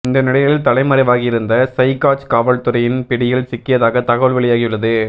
இந்த நிலையில் தலைமறைவாகியிருந்த சைகாஜ் காவல்துறையின் பிடியில் சிக்கியதாக தகவல் வெளியாகியுள்ளது